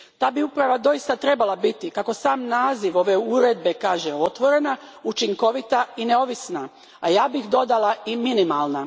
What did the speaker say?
Ta bi uprava doista trebala biti, kako sam naziv ove uredbe kaže, otvorena, učinkovita i neovisna, a ja bih dodala i minimalna.